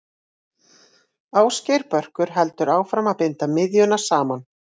Ásgeir Börkur heldur áfram að binda miðjuna saman.